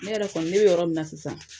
Ne yɛrɛ kɔni ne bɛ yɔrɔ min na sisan